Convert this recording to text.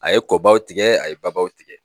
A ye kɔbaw tigɛ, a ye babaw tigɛ.